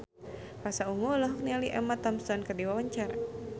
Pasha Ungu olohok ningali Emma Thompson keur diwawancara